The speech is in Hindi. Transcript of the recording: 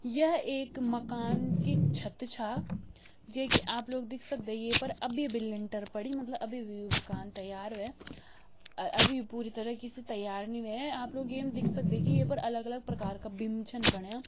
यह एक मकान की छत छा जेकी आप लोग देख सकदे ये पर अभी-अभी लेंटर पड़ी मतलब अभी-अभी यो मकान त्यार होया आ अभी पूरी तरीके से त्यार नि हुया आप लोग येम देख सक्दैन की येपर अलग-अलग प्रकार का बीम छन बणिया।